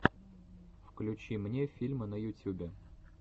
включи мне фильмы на ютюбе